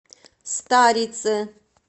старице